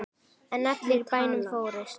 En allir í bænum fórust.